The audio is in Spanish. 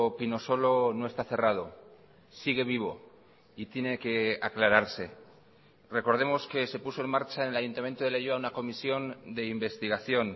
pinosolo no está cerrado sigue vivo y tiene que aclararse recordemos que se puso en marcha en el ayuntamiento de leioa una comisión de investigación